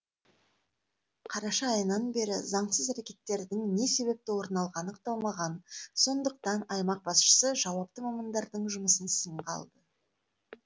қараша айынан бері заңсыз әрекеттердің не себепті орын алғаны анықталмаған сондықтан аймақ басшысы жауапты мамандардың жұмысын сынға алды